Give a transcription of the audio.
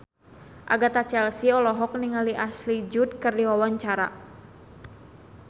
Agatha Chelsea olohok ningali Ashley Judd keur diwawancara